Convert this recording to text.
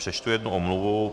Přečtu jednu omluvu.